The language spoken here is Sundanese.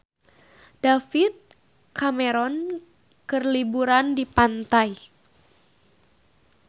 David Cameron keur liburan di pantai